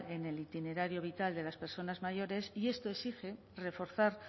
en el itinerario vital de las personas mayores y esto exige reforzar